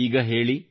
ಈಗ ಹೇಳಿ